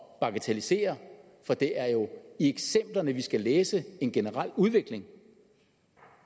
bagatellisere for det er jo i eksemplerne vi skal læse en generel udvikling